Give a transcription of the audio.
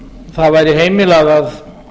það væri heimilað að